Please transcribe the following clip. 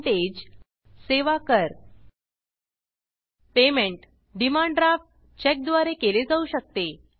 payment demand Draftडिमांड draft Chequeचेक द्वारे केले जाऊ शकते